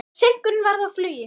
Seinkun varð á flugi.